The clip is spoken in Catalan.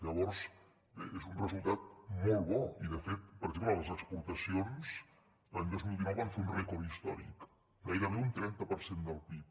llavors bé és un resultat molt bo i de fet per exemple les exportacions l’any dos mil dinou van fer un rècord històric gairebé un trenta per cent del pib